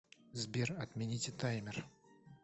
сбер отмените таймер